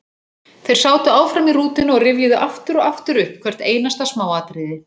Þeir sátu áfram í rútunni og rifjuðu aftur og aftur upp hvert einasta smáatriði.